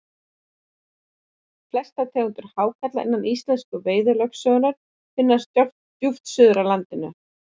Flestar tegundir hákarla innan íslensku fiskveiðilögsögunnar finnast djúpt suður af landinu.